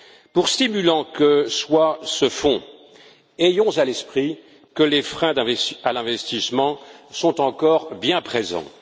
Pour stimulant que soit ce fonds, ayons à l'esprit que les freins à l'investissement sont encore bien présents.